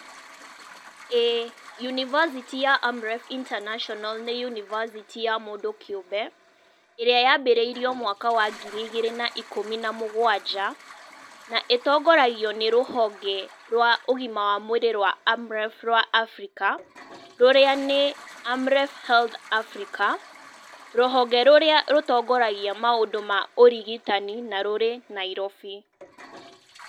Ĩĩ, yunĩbacĩtĩ ya AMREF INTERNATIONAL nĩ yunibacĩtĩ ya mũndũ kĩũmbe, ĩrĩa yambĩrĩirie mwaka wa ngiri igĩrĩ na ikũmi na mũgwanja, na ĩtongoragio nĩ rũhonge rwa ũgima wa mwĩrĩ rwa AMREF rwa Africa rũrĩa nĩ AMREF HEALTH AFRICA, rũhonge rũrĩa rũtogoragia maũndũ ma ũrigitani na rũrĩ Nairobi.